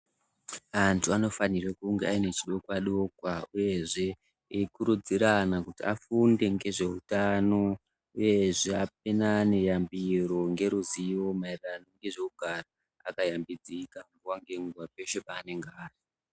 Antu anofanire kunge ane chidokwa dokwa uyezve eikurudzirana kuti afunde ngezveutano uyezve apanane yambiro ngezveruzivo maererano nezvekugara akashambidzika nguwa nenguwa peshe paanenge ari.